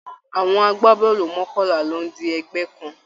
Àwọn àgbàbọọlu mọkanla ló di ẹgbẹ kàn.